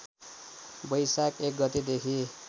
वैशाख १ गतेदेखि